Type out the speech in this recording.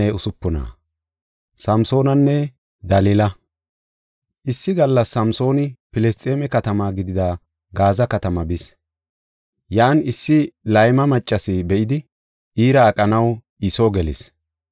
Issi gallas Samsooni Filisxeeme katama gidida Gaaza katamaa bis; Yan issi layma maccas be7idi iira aqanaw I soo gelis.